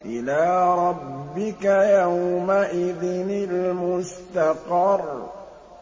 إِلَىٰ رَبِّكَ يَوْمَئِذٍ الْمُسْتَقَرُّ